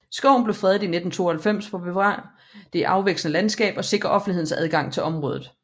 Skoven blev fredet i 1992 for at bevare det afvekslende landskab og sikre offentlighedens adgang til området